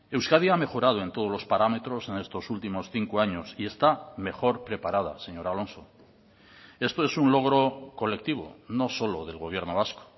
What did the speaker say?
euskadi ha mejorado en todos los parámetros en estos últimos cinco años y está mejor preparada señor alonso esto es un logro colectivo no solo del gobierno vasco